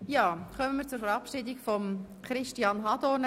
Wir kommen nun zur Verabschiedung von Christian Hadorn.